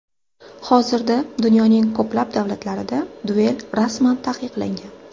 Hozirda dunyoning ko‘plab davlatlarida duel rasman taqiqlangan.